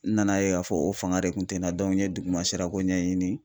N nana ye k'a fɔ o fanga de kun tɛ n na n ye duguma sirako ɲɛɲini